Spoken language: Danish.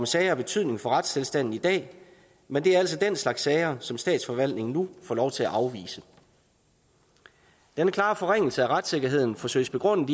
sager af betydning for retstilstanden i dag men det er altså den slags sager som statsforvaltningen nu får lov til at afvise denne klare forringelse af retssikkerheden forsøges begrundet